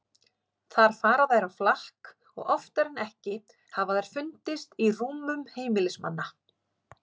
Þar fara þær á flakk og oftar en ekki hafa þær fundist í rúmum heimilismanna.